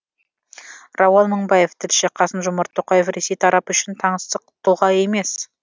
рауан мыңбаев тілші қасым жомарт тоқаев ресей тарапы үшін таңсық тұлға емес